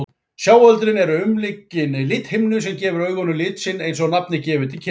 Sjáöldrin eru umlukin lithimnu sem gefur augunum lit sinn, eins og nafnið gefur til kynna.